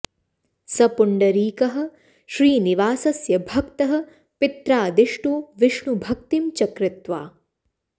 स पुण्डरीकः श्रीनिवासस्य भक्तः पित्रादिष्टो विष्णुभक्तिं च कृत्वा